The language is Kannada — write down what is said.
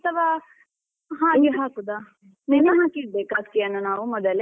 ಅಥವಾ ಹಾಗೆ ಹಾಕುದ ನೆನೆ ಹಾಕಿ ಇಡ್ಬೇಕಾ ಅಕ್ಕಿಯನ್ನು ಮೊದಲೇ?